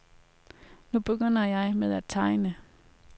Nu begynder jeg med at tegne.